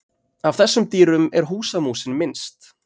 Af þessum dýrum er húsamúsin minnst.